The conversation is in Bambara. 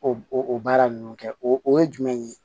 O baara ninnu kɛ o ye jumɛn ye